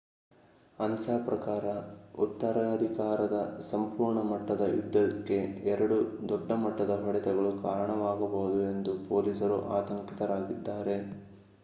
ಅನ್ಸಾ ಪ್ರಕಾರ ಉತ್ತರಾಧಿಕಾರದ ಸಂಪೂರ್ಣ ಮಟ್ಟದ ಯುದ್ಧಕ್ಕೆ ಎರಡು ದೊಡ್ಡ ಮಟ್ಟದ ಹೊಡೆತಗಳು ಕಾರಣವಾಗಬಹುದು ಎಂದು ಪೊಲೀಸರು ಆತಂಕಿತರಾಗಿದ್ದಾರೆ